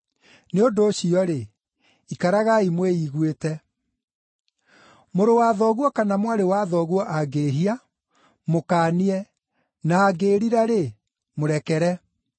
Nĩ ũndũ ũcio-rĩ, ikaragai mwĩiguĩte. “Mũrũ wa thoguo kana mwarĩ wa thoguo angĩĩhia, mũkaanie, na angĩĩrira-rĩ, mũrekere.